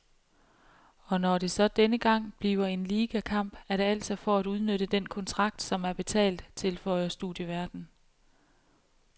Og når det så denne gang bliver en ligakamp, er det altså for at udnytte den kontrakt, som er betalt, tilføjer studieværten.